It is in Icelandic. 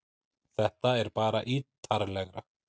Þetta er bara ítarlegra